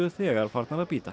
þegar farnar að bíta